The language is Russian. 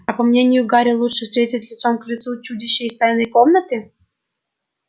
а по мнению гарри лучше встретить лицом к лицу чудище из тайной комнаты